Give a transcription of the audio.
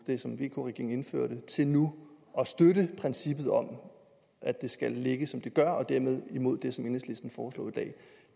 det som vk regeringen indførte til nu at støtte princippet om at det skal ligge som det gør og dermed imod det som enhedslisten foreslår i dag